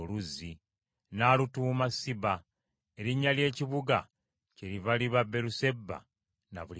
N’alutuuma Siba; erinnya ly’ekibuga kyeriva liba Beeruseba na buli kati.